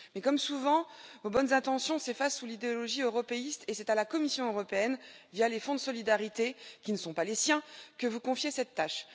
Mais, comme souvent, vos bonnes intentions s'effacent sous l'idéologie européiste, et c'est à la Commission européenne via les fonds de solidarité qui ne sont pas les siens que vous confiez cette tâche.